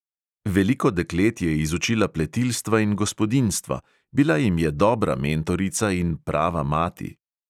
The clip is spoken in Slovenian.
Veliko deklet je izučila pletilstva in gospodinjstva, bila jim je dobra mentorica in prava mati.